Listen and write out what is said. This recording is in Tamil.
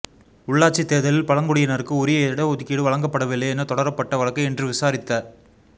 உள்ளாட்சி தேர்தலில் பழங்குடியினருக்கு உரிய இடஒதுக்கீடு வழங்கப்படவில்லை என தொடரப்பட்ட வழக்கை இன்று விசாரித்த